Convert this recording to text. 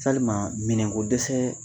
Salima minɛn ko dɛsɛ